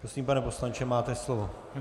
Prosím, pane poslanče, máte slovo.